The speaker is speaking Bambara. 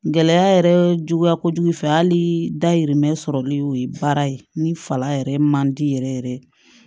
Gɛlɛya yɛrɛ juguya kojugu fɛ hali dayirimɛ sɔrɔli o ye baara ye ni fala yɛrɛ man di yɛrɛ yɛrɛ